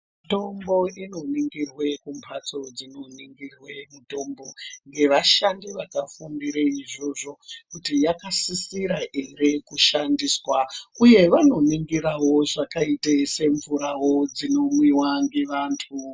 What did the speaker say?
Mitombo inoningirwa kumbatso dzinoningirwe mitombo ngevashandi vakafambire izvozvo kuti yakasisira ere kushandiswa uye vanoningirawo zvakaita semvura inomwiwa ngevantu.